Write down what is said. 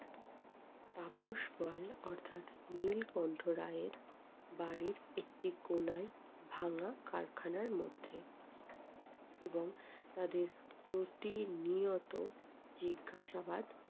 তাপস পাল অর্থাৎ নীলকন্ঠ রায় বাড়ির একটি কোনায় ভাঙা কারখানার মধ্যে। এবং তাদের প্রতিনিয়ত জিজ্ঞাসাবাদ